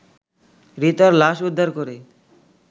রিতার লাশ উদ্ধার করে